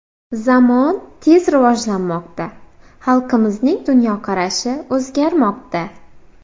Zamon tez rivojlanmoqda, xalqimizning dunyoqarashi o‘zgarmoqda.